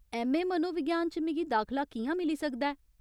MA. मनोविज्ञान च मिगी दाखला कि'यां मिली सकदा ऐ ?